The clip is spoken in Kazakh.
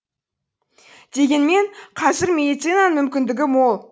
дегенмен қазір медицинаның мүмкіндігі мол